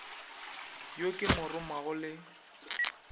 yo ke mo romago le